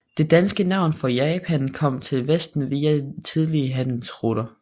Det danske navn for Japan kom til vesten via tidlige handelsruter